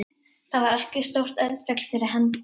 Þar var ekkert stórt eldfjall fyrir hendi.